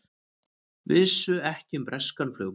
Vissu ekki um breskan flugumann